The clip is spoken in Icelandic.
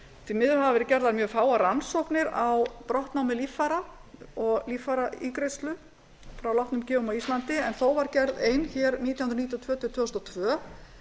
því miður hafa verið gerðar mjög fáar rannsóknir á brottnámi líffæra og líffæraígræðslu frá látnum gjöfum á íslandi en þó var gerð ein hér nítján hundruð níutíu og tvö tvö þúsund og tvö